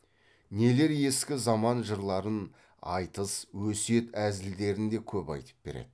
нелер ескі заман жырларын айтыс өсиет әзілдерін де көп айтып береді